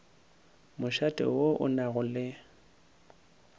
mošate wo o nago le